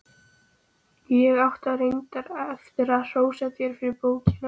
Ég átti reyndar eftir að hrósa þér fyrir bókina.